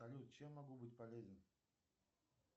салют чем могу быть полезен